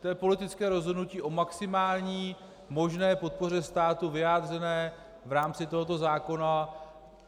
To je politické rozhodnutí o maximální možné podpoře státu vyjádřené v rámci tohoto zákona.